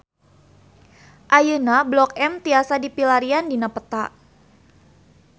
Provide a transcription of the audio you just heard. Ayeuna Blok M tiasa dipilarian dina peta